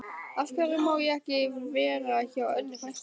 Af hverju má ég ekki vera hjá Önnu frænku?